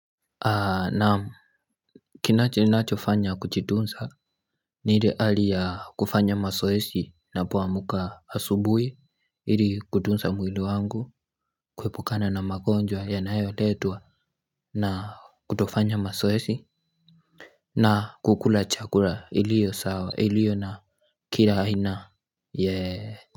Naamu Kinacho nacho fanya kuchitunza ni ile hali ya kufanya masoesi napoamuka asubui Ili kutunza mwili wangu Kuepukana na magonjwa yanayoletwa na kutofanya masoesi na kukula chakula ilio sawa ilio na Kila aina yeee.